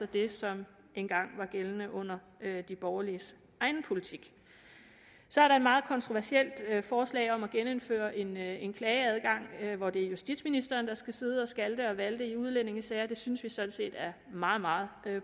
det som engang var gældende under de borgerliges egen politik så er der et meget kontroversielt forslag om at genindføre en en klageadgang hvor det er justitsministeren der skal sidde og skalte og valte i udlændingesager det synes vi sådan set er meget meget